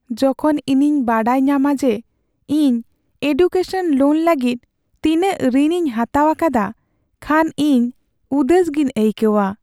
ᱡᱚᱠᱷᱚᱱ ᱤᱧᱤᱧ ᱵᱟᱰᱟᱭ ᱧᱟᱢᱟ ᱡᱮ ᱤᱧ ᱮᱰᱩᱠᱮᱥᱚᱱ ᱞᱳᱱ ᱞᱟᱹᱜᱤᱫ ᱛᱤᱱᱟᱹᱧ ᱨᱤᱱ ᱤᱧ ᱦᱟᱛᱟᱣ ᱟᱠᱟᱫᱟ ᱠᱷᱟᱱ ᱤᱧ ᱩᱫᱟᱹᱥ ᱜᱮᱧ ᱟᱹᱭᱠᱟᱹᱣᱟ ᱾